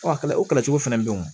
Ɔ o kɛlɛ cogo fana bɛ yen o